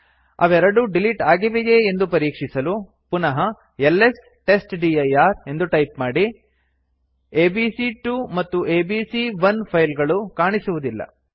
ಅವೆರಡೂ ಡಿಲಿಟ್ ಆಗಿವೆಯೇ ಎಂದು ಪರೀಕ್ಷಿಸಲು ಪುನಃ ಎಲ್ಎಸ್ ಟೆಸ್ಟ್ಡಿರ್ ಎಂದು ಟೈಪ್ ಮಾಡಿ ಎಬಿಸಿ2 ಮತ್ತು ಎಬಿಸಿ1 ಫೈಲ್ ಗಳು ಕಾಣಿಸುವುದಿಲ್ಲ